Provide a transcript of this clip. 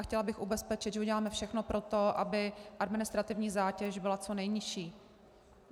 A chtěla bych ubezpečit, že uděláme všechno pro to, aby administrativní zátěž byla co nejnižší.